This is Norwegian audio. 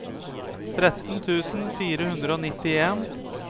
tretten tusen fire hundre og nittien